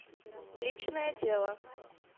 личное дело